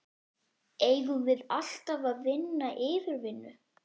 Eigum við alltaf að vinna yfirvinnu?